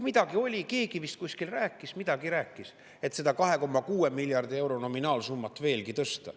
Midagi oli, keegi vist kuskil rääkis, midagi rääkis, et seda 2,6 miljardi euro nominaalsummat veelgi tõsta.